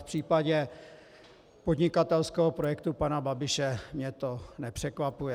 V případě podnikatelského projektu pana Babiše mě to nepřekvapuje.